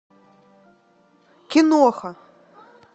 киноха